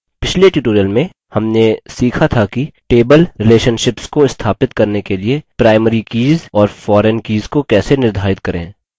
पिछले tutorial में हमने सीखा था कि table relationships को स्थापित करने के लिए primary कीज़ और foreign कीज़ को कैसे निर्धारित करें